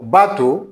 B'a to